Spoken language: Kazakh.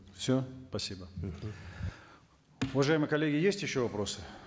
все спасибо мхм уважаемые коллеги есть еще вопросы